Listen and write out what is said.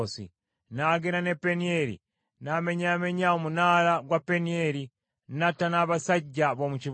N’agenda n’e Penieri n’amenyaamenya omunaala gwa Penieri, n’atta n’abasajja b’omu kibuga.